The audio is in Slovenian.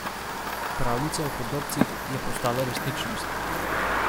Pravljica o hudobcih je postala resničnost.